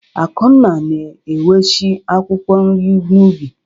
Akunna na-eweshi akwụkwọ nri n'ubi.